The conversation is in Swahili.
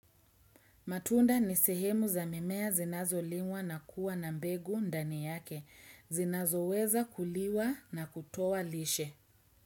Matunda ni sehemu za mimea zinazo liwa na kuwa na mbegu ndani yake. Zinazo weza kuliwa na kutowa lishe.